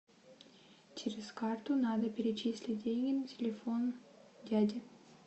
через карту надо перечислить деньги на телефон дяде